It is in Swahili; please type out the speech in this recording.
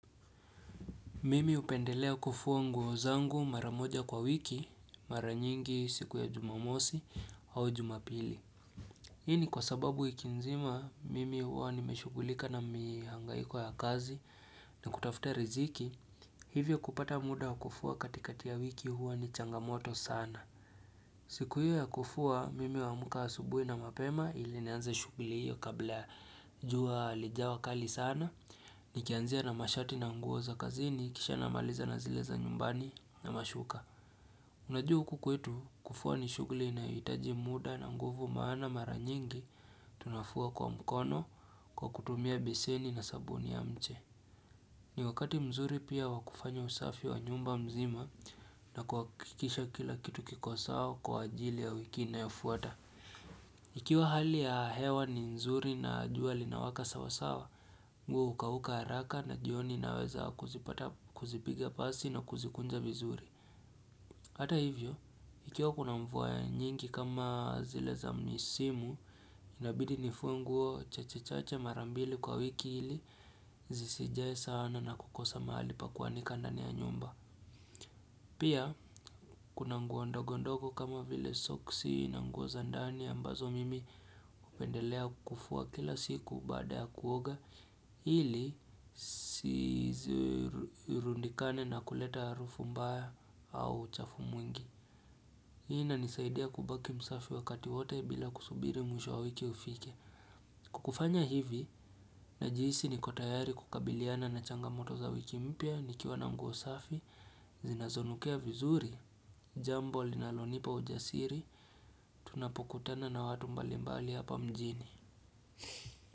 Mimi upendelea kufuwa nguozangu mara moja kwa wiki maranyingi siku ya jumamosi au jumapili Hini kwa sababu ikinzima mimi huwa nimeshugulika na mihangaiko ya kazi na kutafuta riziki hivyo kupata muda kufuwa katikati ya wiki huwa ni changamoto sana siku hiyo ya kufua mimi wa muka asubui na mapema ilineanza shugli hiyo kabla juwa alijawa kali sana Nikianzia na mashati na nguoza kazini kisha na maliza na zileza nyumbani na mashuka Unajuhu kukwetu kufua ni shugli na yitaji muda na nguvu maana mara nyingi tunafua kwa mkono kwa kutumia beseni na sabuni ya mche ni wakati mzuri pia wakufanya usafi wa nyumba mzima na kuwakikisha kila kitu kikosao kwa ajili ya wiki na yofuata. Mimi upendelea kufuwa nguozangu marav moja kwa wiki maranyingi siku ya jumamosi au jumapili Hii ni kwa sababu ikinzima mimi huwa nimeshugulika na mihangaiko ya kazi na kutafuta riziki hivyo kupata muda kufuwa katikati ya wiki huwa ni changamoto sana siku hiyo ya kufua mimi wa muka asubui na mapema ilineanza shugli hiyo kabla juwa alijawa kali sana Nikianzia na mashati na nguoza kazini kisha na maliza na zileza nyumbani na mashuka Unajuhu kukwetu kufua ni shugli na yitaji muda na nguvu maana mara nyingi tunafua kwa mkono kwa kutumia beseni na sabuni ya mche.